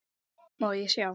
Má ég sjá?